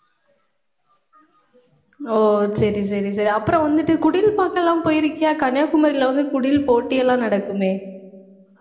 ஓ, சரி, சரி, சரி. அப்புறம் வந்துட்டு, குடில் பாக்கெல்லாம் போயிருக்கியா கன்னியாகுமரியில வந்து, குடில் போட்டி எல்லாம் நடக்குமே